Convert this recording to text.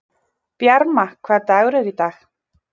Bjarma, hvaða dagur er í dag?